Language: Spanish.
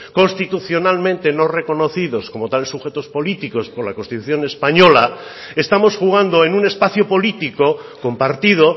constitucionalmente no reconocidos como tales sujetos políticos por la constitución española estamos jugando en un espacio político compartido